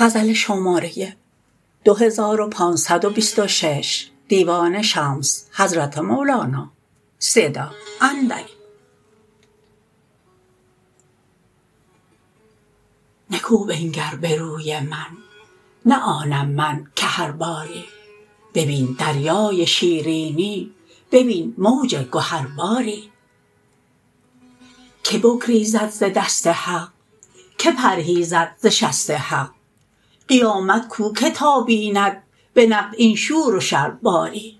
نکو بنگر به روی من نه آنم من که هر باری ببین دریای شیرینی ببین موج گهر باری کی بگریزد ز دست حق کی پرهیزد ز شست حق قیامت کو که تا بیند به نقد این شور و شر باری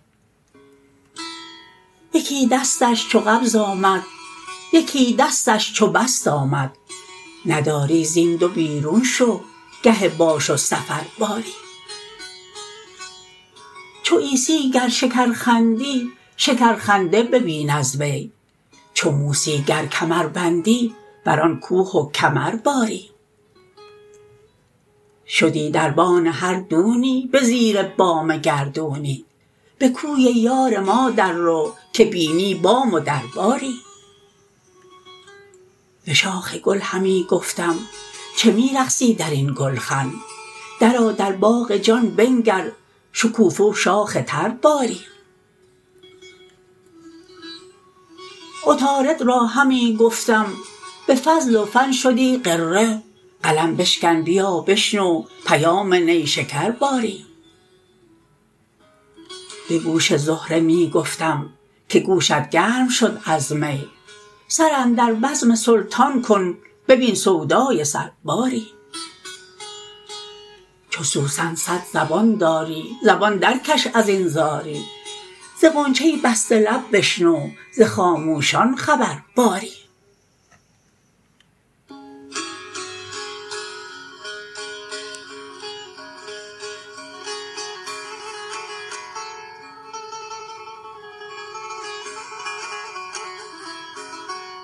یکی دستش چو قبض آمد یکی دستش چو بسط آمد نداری زین دو بیرون شو گه باش و سفر باری چو عیسی گر شکر خندی شکرخنده ببین از وی چو موسی گر کمر بندی بر آن کوه کمر باری شدی دربان هر دونی به زیر بام گردونی به کوی یار ما دررو که بینی بام و در باری به شاخ گل همی گفتم چه می رقصی در این گلخن درآ در باغ جان بنگر شکوفه و شاخ تر باری عطارد را همی گفتم به فضل و فن شدی غره قلم بشکن بیا بشنو پیام نیشکر باری به گوش زهره می گفتم که گوشت گرم شد از می سر اندر بزم سلطان کن ببین سودای سر باری چو سوسن صد زبان داری زبان درکش از این زاری ز غنچه بسته لب بشنو ز خاموشان خبر باری